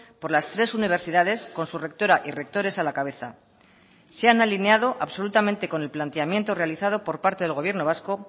por las tres universidades con su rectora y rectores a la cabeza se han alineado absolutamente con el planteamiento realizado por parte del gobierno vasco